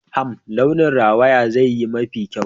Hmm! launin rawaya zai yi mafi kyau